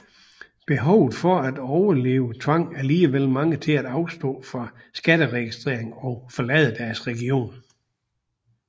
Behovet for at overleve tvang allikevel mange til afstå fra skatteregistring og forlade deres region